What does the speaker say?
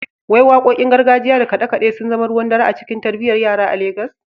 Wai Wakokin gargajiya da kade-kade sun zama ruwan dare a cikin tarbiyyar yara a Legas?